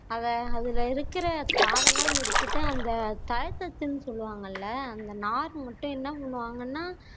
அத அதுல இருக்குற சாரெல்லாம் எடுத்துட்டு அந்த டச்சுன்னு சொல்லு வாங்க அல்ல அந்த நார மட்டும் என்ன பண்ணுவாங்கன்னா